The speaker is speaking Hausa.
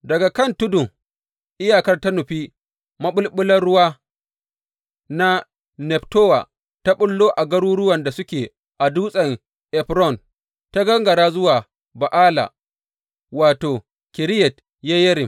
Daga kan tudun, iyakar ta nufi maɓulɓular ruwa na Neftowa, ta ɓullo a garuruwan da suke a Dutsen Efron, ta gangara zuwa Ba’ala wato, Kiriyat Yeyarim.